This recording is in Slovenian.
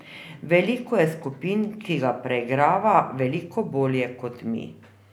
Veliko je skupin, ki ga preigrava veliko bolje, kot mi.